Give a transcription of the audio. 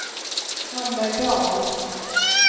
Hammerdal